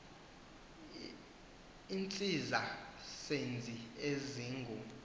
iintsiza senzi ezingu